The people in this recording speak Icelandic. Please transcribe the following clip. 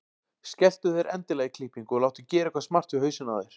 Skelltu þér endilega í klippingu og láttu gera eitthvað smart við hausinn á þér.